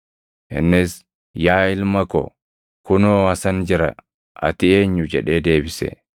Innis gara abbaa isaa dhaqee, “Yaa abbaa koo” jedhe. Innis, “Yaa ilma ko, kunoo asan jira; ati eenyu?” jedhee deebise.